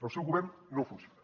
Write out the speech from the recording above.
el seu govern no funciona